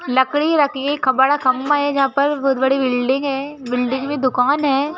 लकड़ी रखिए खबड़ा खंबा है जहां पर बहुत बड़ी बिल्डिंग है बिल्डिंग में दुकान है। ल